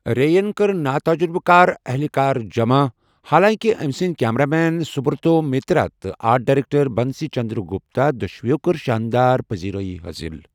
رے ین کٕرِ ناتجرُبہٕ کار اہلہِ کار جمع، حالانٛکہِ أمۍ سٕنٛد کیمرہ مین سبرتا مترا تہٕ آرٹ ڈائریکٹر بنسی چندرگپتا دۄشوٕیو کٔر شانٛدار پذیرائی حٲصِل۔